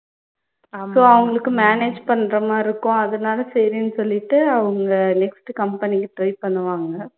so அவங்களுக்கு manage பண்ணுற மாதிரி இருக்கும் அதுனால சரின்னு சொல்லிட்டு அவங்க next company க்கு try பண்ணுவாங்க